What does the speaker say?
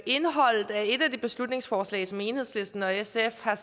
indholdet af et af de beslutningsforslag som enhedslisten og sf har